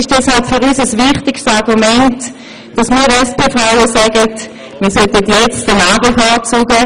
Für uns SP-Frauen ist das ein wichtiges Argument dafür, einen Mann zu bevorzugen.